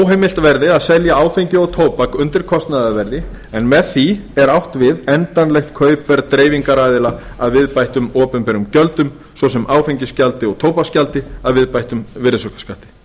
óheimilt verði að selja áfengi og tóbak undir kostnaðarverði en með því er átt við endanlegt kaupverð dreifingaraðila að viðbættum opinberum gjöldum svo sem áfengisgjaldi og tóbaksgjaldi að viðbættum virðisaukaskatti